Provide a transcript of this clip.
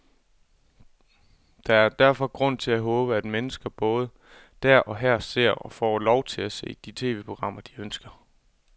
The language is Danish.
Der er derfor grund til at håbe, at mennesker både der og her ser, og får lov til at se, de tv-programmer, de ønsker.